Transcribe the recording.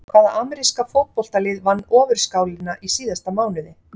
Hvaða ameríska fótboltalið vann Ofurskálina í síðasta mánuði?